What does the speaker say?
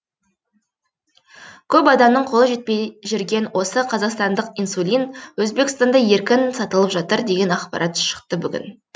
көп адамның қолы жетпей жүрген осы қазақстандық инсулин өзбекстанда еркін сатылып жатыр деген ақпарат шықты бүгін